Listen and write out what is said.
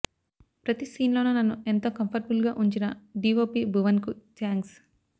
ప్రతి సీన్లోనూ నన్ను ఎంతో కంఫర్టబుల్గా ఉంచిన డీవోపీ భువన్కు థ్యాంక్స్